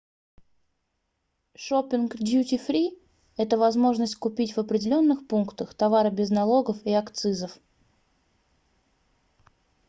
шопинг дьюти-фри - это возможность купить в определенных пунктах товары без налогов и акцизов